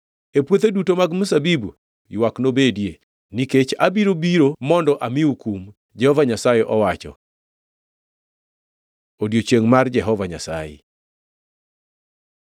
E puothe duto mag mzabibu ywak nobedie, nikech abiro biro mondo amiu kum,” Jehova Nyasaye owacho. Odiechiengʼ mar Jehova Nyasaye